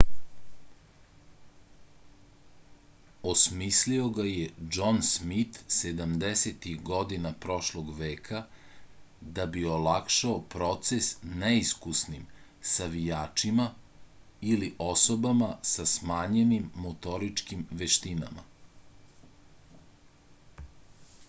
osmislio ga je džon smit sedamdesetih godina prošlog veka da bi olakšao proces neiskusnim savijačima ili osobama sa smanjenim motoričkim veštinama